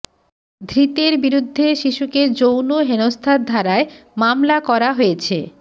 ধৃতের বিরুদ্ধে শিশুকে যৌন হেনস্থার ধারায় মামলা করা হয়েছে